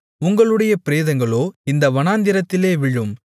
உங்களுடைய பிரேதங்களோ இந்த வனாந்திரத்திலே விழும்